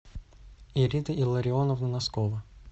ирина илларионовна носкова